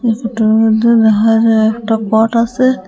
ফোটোর মধ্যে দেহা যায় একটা পট আসে।